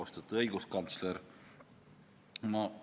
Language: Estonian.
Austatud õiguskantsler!